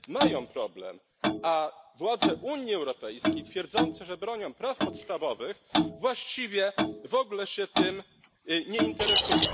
mają problem, a władze Unii Europejskiej twierdzące, że bronią praw podstawowych, właściwie w ogóle się tym nie interesują.